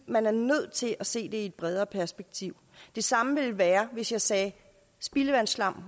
man er nødt til at se det i et bredere perspektiv det samme ville være hvis jeg sagde at spildevandsslam